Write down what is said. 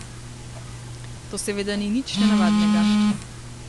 To seveda ni nič nenavadnega.